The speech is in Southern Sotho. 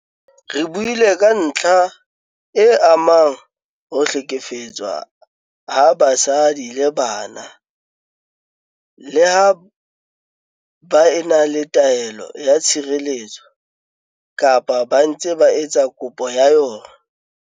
Re buile ka ntlha e amang ho hlekefetswa ha basadi le bana leha ba e na le taelo ya tshireletso kapa ba ntse ba etsa kopo ya yona.